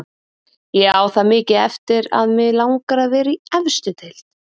Ég á það mikið eftir að mig langar að vera í efstu deild.